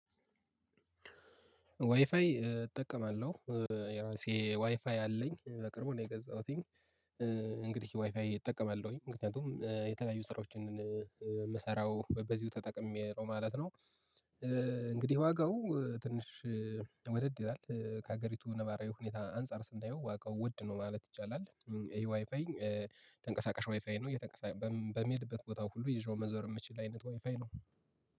ዋይፋይ እጠቀማለሁ የራሴ ዋይፋይ አለኝ በቅርቡ ነው ገዛሁትኝ። እንግዲህ ዋይፋይ እጠቀማለሁኝ ምክንያቱም የተለያዩ ስራዎችን የምሰራው በዚሁ ተጠቅሜ ነው ማለት ነው። እንግዲህ ዋጋው ትንሽ ወደድ ይላል ከሀገሪቱ ነባራዊ ሁኔታ አንፃር ስናየው ዋጋው ውድ ነው ማለት ይቻላል። ይሄ ዋይፋይ ተንቀሳቃሽ ዋይፋይ ነው። በሚሄድበት ቦታ ሁሉ ይዤው መዞር የምችል አይነት ዋይፋይ ነው።